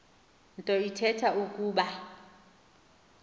nto ithetha ukuba